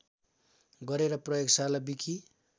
गरेर प्रयोगशाला विकि